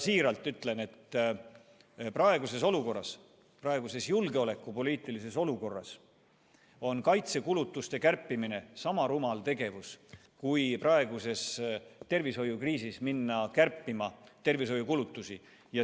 Siiralt ütlen, et praeguses julgeolekupoliitilises olukorras on kaitsekulutuste kärpimine sama rumal tegevus kui minna praeguses tervishoiukriisis kärpima tervishoiukulutusi.